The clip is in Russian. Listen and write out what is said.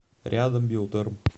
рядом биотерм